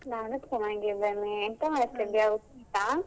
ನಾನು ಚೆನ್ನಾಗಿದ್ದೇನೆ, ಎಂತ ಮಾಡ್ತಿದ್ದೀಯಾ ಊಟ?